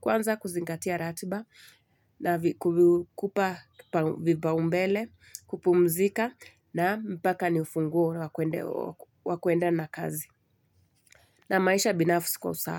Kwanza kuzingatia ratiba na kukupa vipaumbele, kupumzika na mpaka ni ufunguo wa wa kuenda na kazi. Na maisha binafsi kwa usawa.